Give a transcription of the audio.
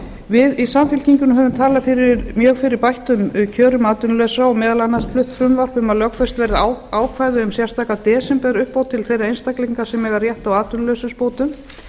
við í samfylkingunni höfum talað mjög fyrir bættum kjörum atvinnulausra og meðal annars flutt frumvarp um að lögfest verði ákvæði um sérstaka desemberuppbót til þeirra einstaklinga sem eiga rétt á atvinnuleysisbótum